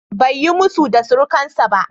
Bai yi musu da surukansa ba.